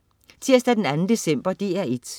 Tirsdag den 2. december - DR1: